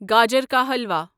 گاجر کا حلوا